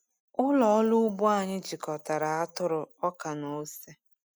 Ụlọ ọrụ ugbo anyị jikọtara atụrụ, ọka, na ose.